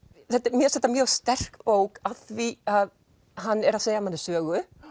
mér finnst þetta mjög sterk bók af því hann er að segja manni sögu